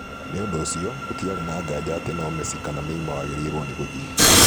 Nĩ ũndũ ũcio, gũtiarĩ na nganja ati no Messi kana Neymar wagĩrĩirwo nĩ gũthiĩ.